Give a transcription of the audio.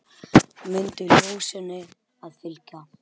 Mundu ljósinu að fylgja.